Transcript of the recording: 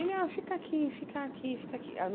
Ele ah, fica aqui, fica aqui fica aqui aí